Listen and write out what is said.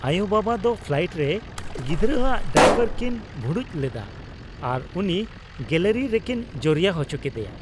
ᱟᱭᱳᱼᱵᱟᱵᱟ ᱫᱚ ᱯᱷᱞᱟᱭᱤᱴ ᱨᱮ ᱜᱤᱫᱽᱨᱟᱹ ᱟᱜ ᱰᱟᱭᱯᱟᱨ ᱠᱤᱱ ᱵᱷᱩᱲᱩᱡ ᱞᱮᱫᱟ ᱟᱨ ᱩᱱᱤ ᱜᱮᱞᱟᱨᱤ ᱨᱮᱠᱤᱱ ᱡᱚᱨᱭᱟ ᱦᱚᱪᱚ ᱠᱮᱫᱮᱭᱟ ᱾